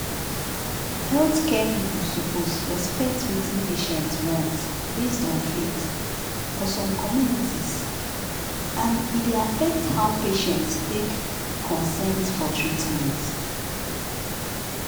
healthcare people suppose respect wetin patients want based on faith for some communities and e dey affect how patients take give consent for treatment